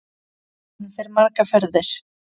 Hann fer margar ferðir.